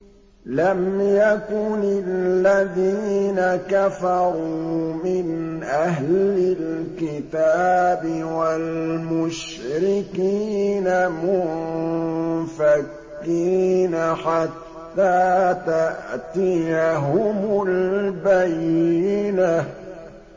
لَمْ يَكُنِ الَّذِينَ كَفَرُوا مِنْ أَهْلِ الْكِتَابِ وَالْمُشْرِكِينَ مُنفَكِّينَ حَتَّىٰ تَأْتِيَهُمُ الْبَيِّنَةُ